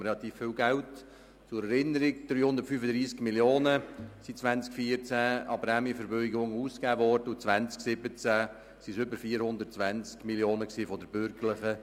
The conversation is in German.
Zur Erinnerung: 2014 wurden von der Regierung 335 Mio. Franken für die Prämienverbilligung ausgegeben, 2017 waren es über 420 Mio. Franken.